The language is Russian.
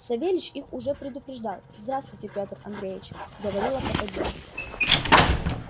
савельич их уже предупредил здравствуйте пётр андреич говорила попадья